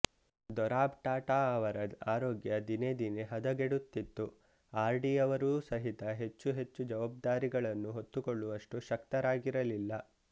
ದೊರಾಬ್ ಟಾಟಾ ಅವರ ಆರೋಗ್ಯ ದಿನೇ ದಿನೇ ಹದಗೆಡುತ್ತಿತ್ತು ಆರ್ ಡಿಯವರೂ ಸಹಿತ ಹೆಚ್ಚು ಹೆಚ್ಚು ಜವಾಬ್ದಾರಿಗಳನ್ನು ಹೊತ್ತುಕೊಳ್ಳುವಷ್ಟು ಶಕ್ತರಾಗಿರಲಿಲ್ಲ